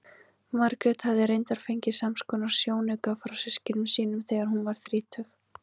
Margrét hafði reyndar fengið samskonar sjónauka frá systkinum sínum þegar hún varð þrítug.